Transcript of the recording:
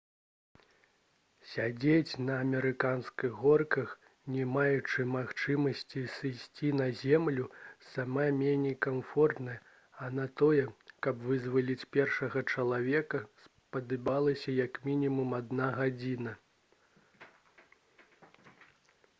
«сядзець на амерыканскіх горках не маючы магчымасці сысці на зямлю сама меней некамфортна а на тое каб вызваліць першага чалавека спатрэбілася як мінімум адна гадзіна»